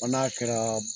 Fɔ n'a kɛra